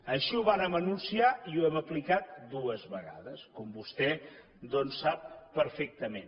així ho vàrem anunciar i ho hem aplicat dues vegades com vostè doncs sap perfectament